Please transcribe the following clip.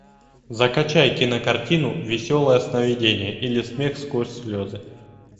закачай кинокартину веселое сновидение или смех сквозь слезы